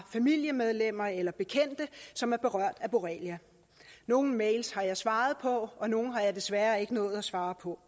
familiemedlemmer eller bekendte som er berørt af borrelia nogle mails har jeg svaret på og nogle har jeg desværre ikke nået at svare på